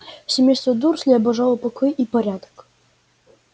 семейство дурслей обожало покой и порядок